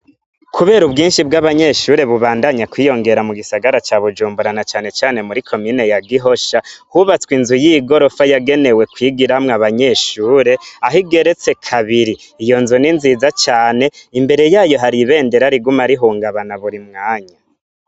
Kubera ubwinshi bw'abanyeshure bubandanya kwiyongera mu gisagara ca Bujumbura na cane cane muri komine ya Gihosha, hubatswe inzu y'igorofa yagenewe kwigiramwo abanyeshure, aho igeretse kabiri, iyo nzu ni nziza cane, imbere yayo hari ibendera riguma rihungabana buri mwanya.